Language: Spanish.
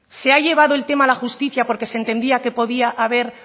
se ha llevado el tema a la justicia porque se entendía que podía haber